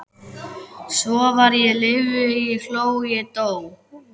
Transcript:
Svo var ég lifði ég hló ég dó